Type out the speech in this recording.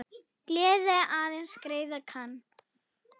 Gleði aðeins greiða kann.